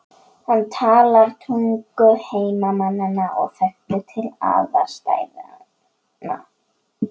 Hann talar tungu heimamanna og þekkir til aðstæðna.